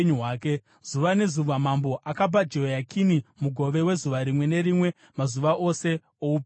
Zuva nezuva mambo akapa Jehoyakini mugove wezuva rimwe nerimwe mazuva ose oupenyu hwake.